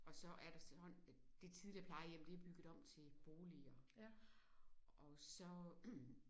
Og så er det sådan at det tidligere plejehjem det er bygget om til boliger og så